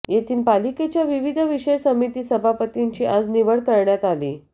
येथील पालिकेच्या विविध विषय समिती सभापतींची आज निवड करण्यात आली